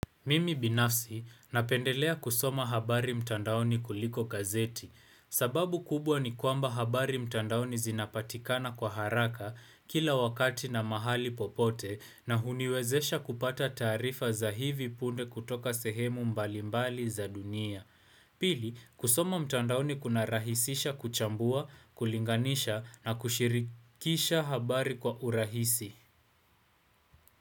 Mimi binafsi napendelea kusoma habari mtandaoni kuliko gazeti, sababu kubwa ni kwamba habari mtandaoni zinapatikana kwa haraka kila wakati na mahali popote na huniwezesha kupata taarifa za hivi punde kutoka sehemu mbalimbali za dunia. Pili, kusoma mtandaoni kunarahisisha kuchambua, kulinganisha na kushirikisha habari kwa urahisi.